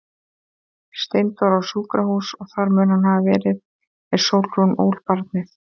Steindór á sjúkrahús og þar mun hann hafa verið er Sólrún ól barnið.